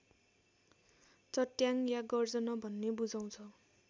चट्याङ्ग या गर्जन भन्ने बुझाउँछ